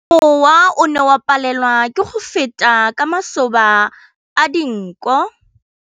Mowa o ne o palelwa ke go feta ka masoba a dinko.